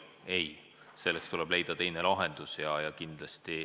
Ei, selleks tuleb leida teine lahendus.